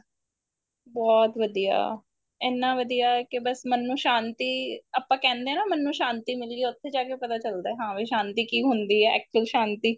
ਬਹੁਤ ਵਧੀਆ ਇੰਨਾ ਵਧੀਆ ਕੇ ਬੱਸ ਮਨ ਨੂੰ ਸ਼ਾਂਤੀ ਆਪਾਂ ਕਹਿੰਦੇ ਆ ਨਾ ਮਨ ਨੂੰ ਸ਼ਾਂਤੀ ਮਿਲੀ ਹੈ ਉੱਥੇ ਜਾ ਕੇ ਪਤਾ ਚੱਲਦਾ ਹਾਂ ਵੀ ਸ਼ਾਂਤੀ ਕੀ ਹੁੰਦੀ ਏ actual ਸ਼ਾਂਤੀ